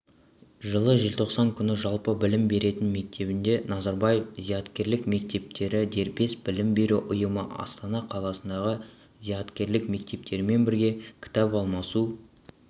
жылы желтоқсан күні жалпы білім беретін мектебінде назарбаев зияткерлік мектептері дербес білім беру ұйымы астана қаласындағы зияткерлік мектептермен бірге кітап алмасу